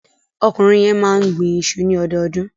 Ọkùnrin yẹn máa ń gbin iṣu ní ọdọọdún.